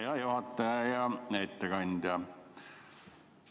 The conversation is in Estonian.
Hea juhataja ja ettekandja!